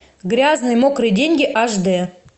грязные мокрые деньги аш дэ